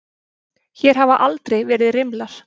Hér hafa aldrei verið rimlar.